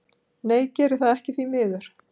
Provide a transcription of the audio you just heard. Nei geri það ekki því miður.